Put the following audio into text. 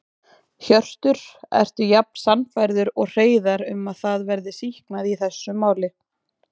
Hjörtur: Ertu jafn sannfærður og Hreiðar um að það verði sýknað í þessu máli?